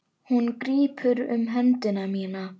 Hún grípur um hönd mína.